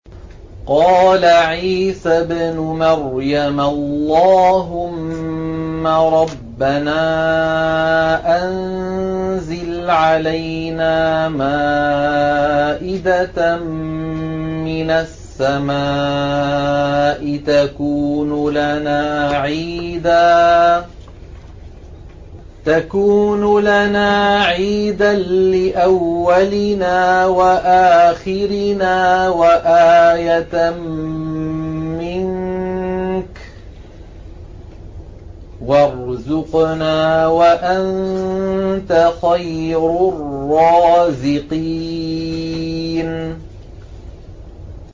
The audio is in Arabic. قَالَ عِيسَى ابْنُ مَرْيَمَ اللَّهُمَّ رَبَّنَا أَنزِلْ عَلَيْنَا مَائِدَةً مِّنَ السَّمَاءِ تَكُونُ لَنَا عِيدًا لِّأَوَّلِنَا وَآخِرِنَا وَآيَةً مِّنكَ ۖ وَارْزُقْنَا وَأَنتَ خَيْرُ الرَّازِقِينَ